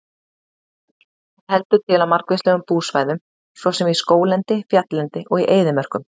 Hún heldur til á margvíslegum búsvæðum svo sem í skóglendi, fjalllendi og í eyðimörkum.